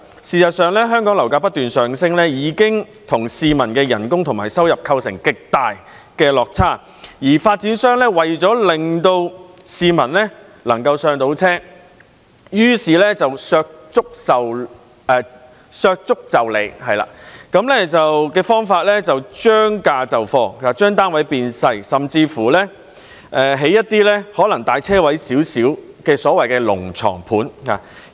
事實上，香港的樓價不斷上升，已經與市民的工資和收入出現極大的落差，而發展商為了令市民能夠"上車"，於是以削足就履的方法，將價就貨，把單位變小，甚至興建一些可能只是較車位大一點的所謂"龍床盤"。